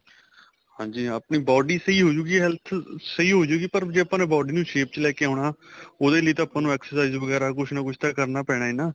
ਹਾਂਜੀ ਆਪਣੀ body ਸਹੀਂ ਹੋਜੂਗੀ health ਸਹੀਂ ਹੋਜੂਗੀ ਪਰ ਜ਼ੇ ਆਪਾਂ ਨੇ body ਨੂੰ shape ਚ ਲੈਕੇ ਆਉਣਾ ਉਹਦੇ ਲਈ ਤਾਂ ਆਪਾਂ ਨੂੰ exercise ਵਗੈਰਾ ਕੁੱਛ ਨਾ ਕੁੱਛ ਕਰਨਾ ਪੈਣਾ ਏ ਨਾ